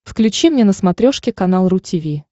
включи мне на смотрешке канал ру ти ви